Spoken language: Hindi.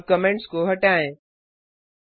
अब कमेंट्स को हटाएँ